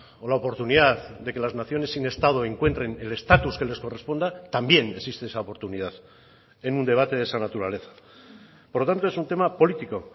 o la oportunidad de que las naciones sin estado encuentren el estatus que les corresponda también existe esa oportunidad en un debate de esa naturaleza por lo tanto es un tema político